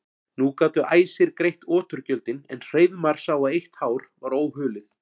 Nú gátu æsir greitt oturgjöldin en Hreiðmar sá að eitt hár var óhulið.